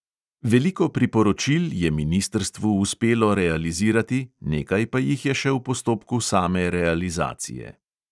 Veliko priporočil je ministrstvu uspelo realizirati, nekaj pa jih je še v postopku same realizacije.